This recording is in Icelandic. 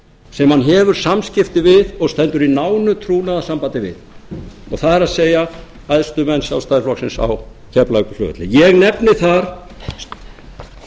sem hann hefur samskipti við og stendur í nánu trúnaðarsambandi við það er æðstu menn sjálfstæðisflokksins á keflavíkurflugvelli ég nefni þar borgþór jónsson